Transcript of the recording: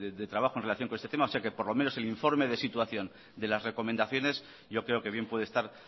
de trabajo en relación con este tema o sea que por lo menos el informe de situación de las recomendaciones yo creo que bien puede estar